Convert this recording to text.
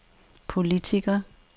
politiker